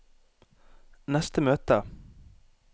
neste møte